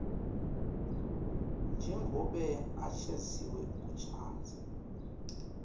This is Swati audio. njengobe achaziwe kushatha